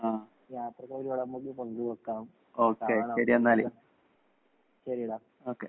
ആഹ്. Okay ശെരി അന്നാല്. Okay.